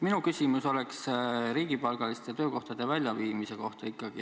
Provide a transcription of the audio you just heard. Minu küsimus on riigipalgaliste töökohtade väljaviimise kohta.